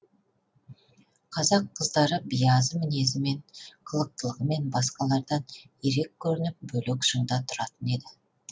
қазақ қыздары биязы мінезімен қылықтылығымен басқалардан ерек көрініп бөлек шыңда тұратын еді